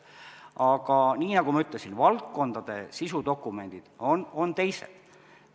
Aga nagu ma ütlesin, valdkondade sisudokumendid on teised.